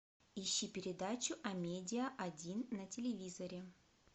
ищи передачу амедиа один на телевизоре